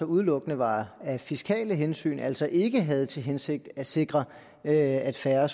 udelukkende var af fiskale hensyn altså ikke havde til hensigt at sikre at færre